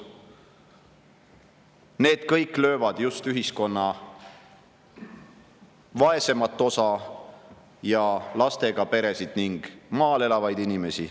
See kõik lööb just ühiskonna vaesemat osa ja lastega peresid ning maal elavaid inimesi.